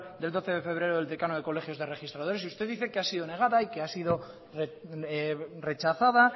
del doce de febrero del decano del colegio de registradores y usted dice que ha sido negada y que ha sido rechazada